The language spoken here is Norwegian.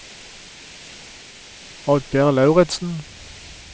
Oddgeir Lauritzen